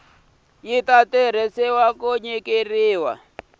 ta tirhisiwa ya nyikiwile eka